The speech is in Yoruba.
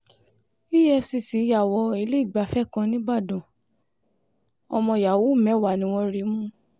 efcc yà wọ ilé ìgbafẹ́ kan nìbàdàn ọmọ yahoo mẹ́wàá ni wọ́n rí mú